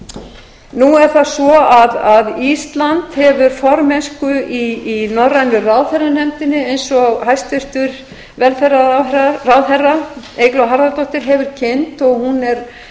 varðar nú er það svo að ísland hefur formennsku í norrænu ráðherranefndinni eins og hæstvirtur velferðarráðherra eygló harðardóttir hefur kynnt og hún er